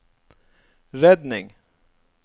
redning